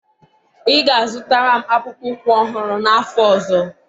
ị ga-azụtara m akpụkpọ ụkwụ ọhụrụ n'afọ ọzọ?